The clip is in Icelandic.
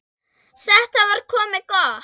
Þetta var komið gott.